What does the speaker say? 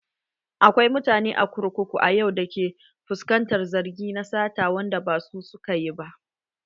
Akwai mutane a kurkuku a yau da ke fuskantar zargi na sata wanda ba su suka yi ba.